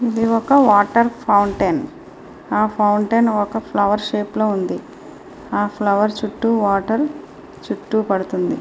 ఇది ఒక water fountain ఈ వాటర్ ఫౌంటెన్ ఫ్లవర్ షేప్ లో ఉంది ఆ ఫ్లవర్ చుట్టూ వాటర్ పడుతూ ఉంది.